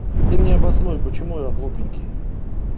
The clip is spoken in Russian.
ты мне обоснуй почему я глупенький